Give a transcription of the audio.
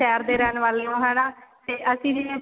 ਸ਼ਹਿਰ ਦੇ ਰਹਿਣ ਵਾਲੇ ਹੋ ਹਨਾ ਤੇ ਅਸੀਂ ਜਿਵੇਂ